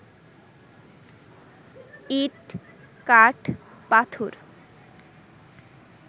ইট-কাঠ-পাথর